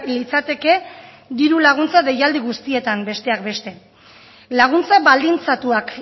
litzateke diru laguntza deialdi guztietan besteak beste laguntza baldintzatuak